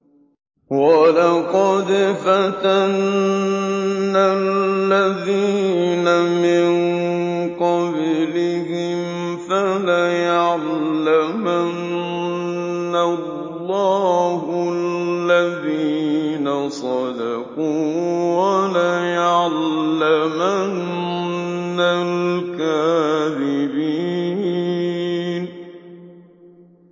وَلَقَدْ فَتَنَّا الَّذِينَ مِن قَبْلِهِمْ ۖ فَلَيَعْلَمَنَّ اللَّهُ الَّذِينَ صَدَقُوا وَلَيَعْلَمَنَّ الْكَاذِبِينَ